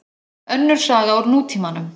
Önnur saga úr nútímanum.